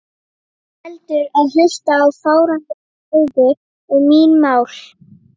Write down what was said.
Heldur en hlusta á fáránlegar ræður um mín mál.